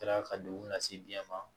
Kɛra ka degun lase biɲɛ ma